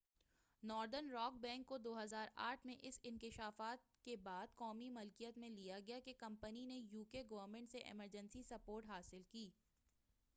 northern rock bank کو 2008ء میں اس انکشاف کے بعد قومی ملکیت میں لیا گیا کہ کمپنی نے یو کے گورنمنٹ سے ایمرجنسی سپورٹ حاصل کی